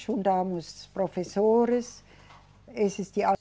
Juntamos professores. Esses